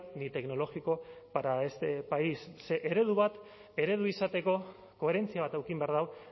ni tecnológico para este país ze eredu bat eredu izateko koherentzia bat eduki behar du